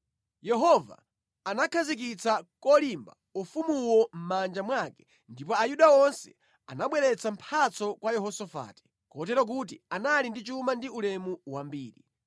Yehova anakhazikitsa kolimba ufumuwo mʼmanja mwake ndipo Ayuda onse anabweretsa mphatso kwa Yehosafati, kotero kuti anali ndi chuma ndi ulemu wambiri.